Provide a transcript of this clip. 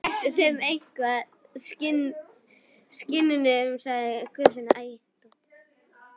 Réttu þeim eitthvað, skinnunum, sagði Guðfinna.